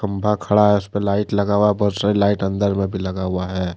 खंबा खड़ा है उस पे लाइट लगा हुआ है बहुत सारी लाइट अंदर में भी लगा हुआ है।